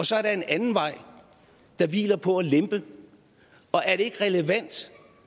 så er der en anden vej der hviler på at lempe er det ikke relevant